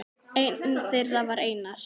Einn þeirra var Einar